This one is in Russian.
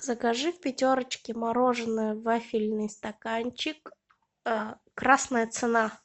закажи в пятерочке мороженое вафельный стаканчик красная цена